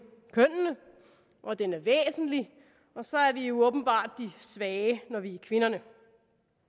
kønnene og den er væsentlig og så er vi jo åbenbart de svage når vi er kvinder det